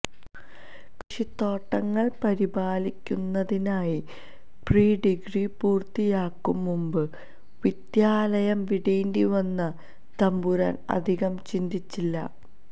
കൃഷിത്തോട്ടങ്ങള് പരിപാലിക്കുന്നതിനായി പ്രീഡിഗ്രി പൂര്ത്തിയാക്കും മുമ്പ് വിദ്യാലയം വിടേണ്ടിവന്ന തമ്പുരാന് അധികം ചിന്തിച്ചില്ല